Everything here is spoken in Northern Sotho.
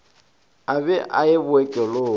a be a ye bookelong